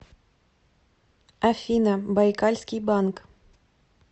афина байкальский банк